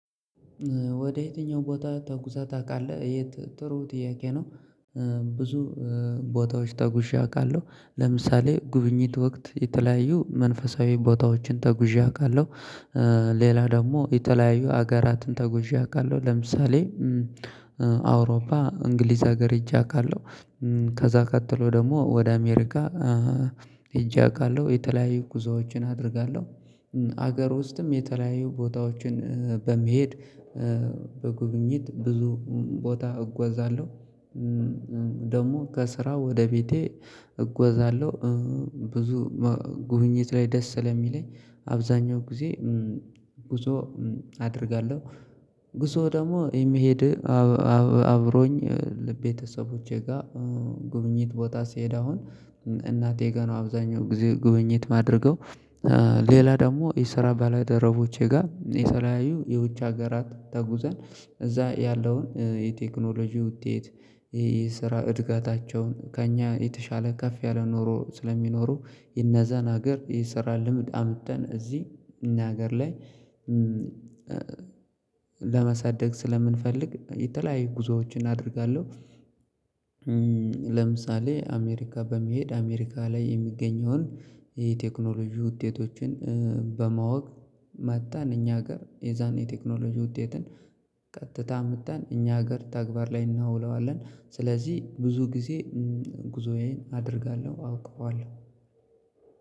ወደ የትኛው ቦታ ተጉዛህ ታውቃለህ የት ጥሩ ጥያቄ ነው? ብዙ ቦታዎች ተጉዣ አውቃለሁ ለምሳሌ ጉብኝት ወቅት የተለያዩ መንፈሳዊ ቦታዎችን ተጉዤ አውቃለሁ። ሌላ ደግሞ የተለያዩ ሀገራትን ተጉዤ አውቃለሁ ለምሳሌ አውሮፓ እንግሊዝ ሀገር ሄጄ አውቃለሁ። ከዚያ ቀጥሎ ደግሞ ወደ አሜሪካ ሄጄ አውቃለሁ የተለያዩ ጉዞዎችን አደርጋለሁ። ሀገር ውስጥም የተለያዩ ቦታዎችን በመሄድ በጉብኝት ብዙ ቦታ እጎዛለሁ። ደግሞ ከስራ ወደ ቤቴ እጎዛለሁ ብዙ ጉብኝት ላይ ደስ ስለሚለኝ አብዛኛው ጊዜ ጉዞ አደርጋለሁ። ጉዞ ደግሞ የሚሄድ አብሮኝ ለቤተሰቦቼ ጋር ጉብኝት ቦታ ሲሄድ አሁን እናቴ ጋር ነው አብዛኛው ጊዜ ጉብኝት ማድረገው። ሌላ ደግሞ የስራ ባለደረቦቼ ጋር የተለያዩ የዉጭ ሀገራት ተጉዘን እዚያ ያለውን የቴክኖሎጂ ውጤት የስራ አድገታቸውን ከእኛ የተሻለ ከፍ ያለ ኑሮ ስለሚኖሩ የነዛን ሀገር የስራ ልምድ አምጥተን እዚህ እኛ ሀገር ላይ ለመሳደግ ስለምንፈልግ የተለያዩ ጉዞዎችን አደርጋለሁ። ለምሳሌ አሜሪካ በመሄድ አሜሪካ ላይ የምገኛውን የቴክኖሎጂ ውጤቶችን በማወቅ መጣን እኛ ሀገር የዛን የቴክኖሎጂ ውጤትን ቀጥታ አምጥተን እኛ ሀገር ተግባር ላይ አናውለዋለን ስለዚህ ብዙ ጊዜ ጉዞዬን አደርጋለሁ ማለት ነው።